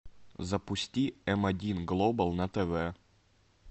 запусти м один глобал на тв